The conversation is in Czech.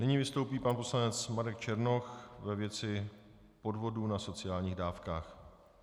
Nyní vystoupí pan poslanec Marek Černoch ve věci podvodu na sociálních dávkách.